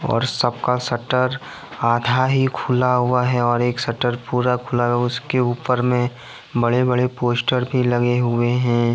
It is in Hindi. और सबका शटर आधा ही खुला हुआ है और एक शटर पूरा खुला हुआ है उसके ऊपर में बड़े बड़े पोस्टर भी लगे हुए हैं।